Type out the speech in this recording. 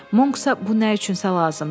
Monksa bu nə üçünsə lazımdır.